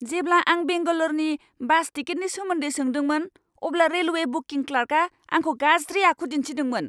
जेब्ला आं बेंगालरनि बास टिकेटनि सोमोन्दै सोंदोंमोन अब्ला रेलवे बुकिं क्लार्कआ आंखौ गाज्रि आखु दिनथिदोंमोन।